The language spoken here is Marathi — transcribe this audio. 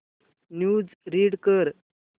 न्यूज रीड कर